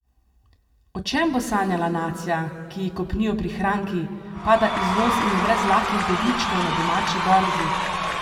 O čem bo sanjala nacija, ki ji kopnijo prihranki, pada izvoz in je brez lahkih dobičkov na domači borzi?